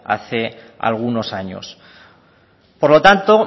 hace algunos años por lo tanto